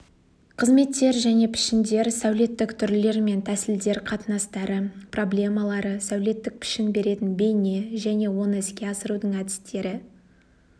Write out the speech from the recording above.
қызметтер және пішіндер сәулеттік түрлер мен тәсілдер қатынастары проблемалары сәулеттік пішін беретін бейне және оны іске асырудың әдістері